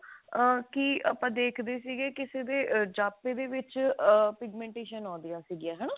ah ਕੀ ਆਪਾਂ ਦੇਖਦੇ ਸੀਗੇ ਕਿਸੇ ਦੇ ਜਾਪੇ ਦੇ ਵਿੱਚ ah pigmentation ਆਉਂਦੀਆਂ ਸੀਗੀਆਂ